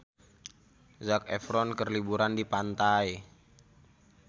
Zac Efron keur liburan di pantai